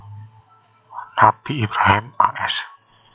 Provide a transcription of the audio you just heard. Nabi Ibrahim a s